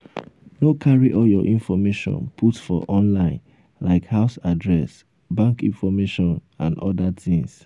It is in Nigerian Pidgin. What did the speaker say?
no carry all your information put for online like house address bank information and oda things